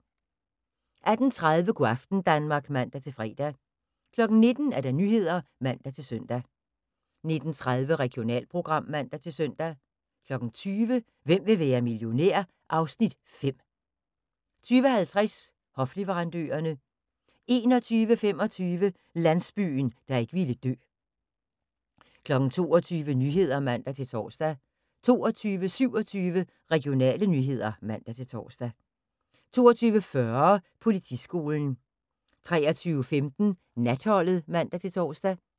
18:30: Go' aften Danmark (man-fre) 19:00: Nyhederne (man-søn) 19:30: Regionalprogram (man-søn) 20:00: Hvem vil være millionær? (Afs. 5) 20:50: Hofleverandørerne 21:25: Landsbyen, der ikke ville dø 22:00: Nyhederne (man-tor) 22:27: Regionale nyheder (man-tor) 22:40: Politiskolen 23:15: Natholdet (man-tor)